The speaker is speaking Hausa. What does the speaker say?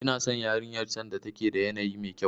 Ina san yarinyar can da take da yanayi mekyau.